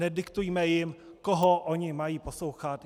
Nediktujme jim, koho oni mají poslouchat.